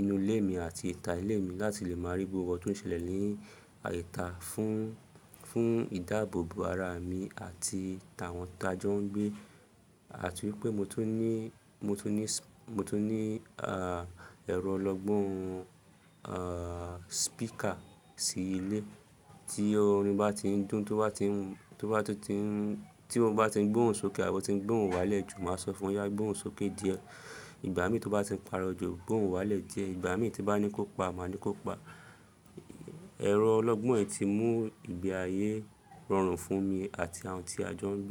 inú ilé mi àti ìta ilé mi láti lè máa rí gbogbo ohun tó ń ṣẹlẹ̀ ní àìta fún, fún ìdáàbòbò ara mi àti tàwọn tí ajọ ń gbé. Àti wípé mo tún ní, mo tún ní, mo tún ní ah ẹrọ ọlọ́gbọ́n ah speaker sí ilé tí orin bá tí ń dùn, tó bá ti ń, tó bá ti ń, tí mo bá tí ń gbóhùn sókè àbo tí ń gbóhùn wálẹ̀ jù, màá sọ fún ya gbóhùn sókè díẹ̀, ìgbà mí tó bá ti ń pàrọ̀ jù gbóhùn wálẹ̀ díẹ̀, ìgbà mí tí bá ní kó pa, màá ní kó pa. Ẹ̀rọ ọlọ́gbọ́n ẹ ti mú ìgbé ayé rọrùn fún mi àti àwọn tí ajọ ń gbé.